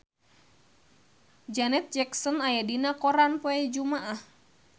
Janet Jackson aya dina koran poe Jumaah